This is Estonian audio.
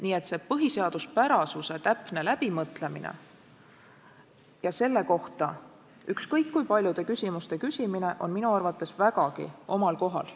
Nii et see põhiseaduspärasuse täpne läbimõtlemine ja selle kohta ükskõik kui paljude küsimuste küsimine on minu arvates vägagi omal kohal.